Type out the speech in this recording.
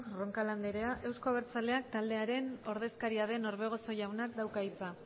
roncal andrea euzko abertzaleak taldearen ordezkaria den orbegozo jaunak dauka hitza